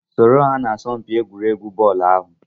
Soro ha n'isọmpi egwuregwu bọọlu ahụ!